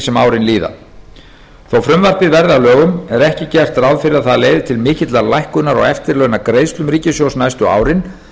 sem árin líða þó frumvarpið verði að lögum er ekki gert ráð fyrir að það leiði til mikillar lækkunar á eftirlaunagreiðslum ríkissjóðs næstu árin